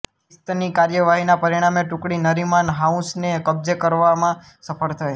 બિશ્તની કાર્યવાહીના પરિણામે ટુકડી નરીમાન હાઉસને કબ્જે કરવામાં સફળ થઈ